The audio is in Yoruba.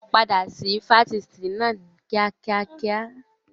Padà sí Fásitì náà kíá kíákíá!